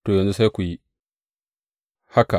To, yanzu sai ku yi haka!